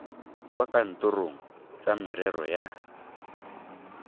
kwa kantorong tsa merero ya